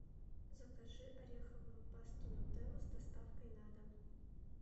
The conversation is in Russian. закажи ореховую пасту нутелла с доставкой на дом